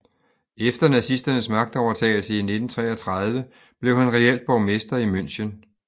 Efter nazisternes magtovertagelse i 1933 blev han reelt borgmester i München